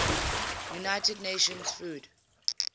united nations food